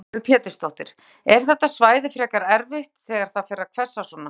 Lillý Valgerður Pétursdóttir: Er þetta svæði frekar erfitt þegar það fer að hvessa svona?